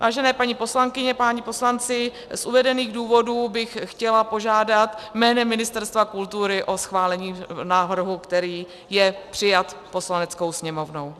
Vážené paní poslankyně, páni poslanci, z uvedených důvodů bych chtěla požádat jménem Ministerstva kultury o schválení návrhu, který je přijat Poslaneckou sněmovnou.